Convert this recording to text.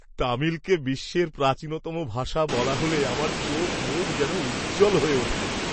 তামিলকে বিশ্বের প্রাচীনতম ভাষা বলা হলে আমার চোখমুখ যেন উজ্জ্বল হয়ে ওঠে।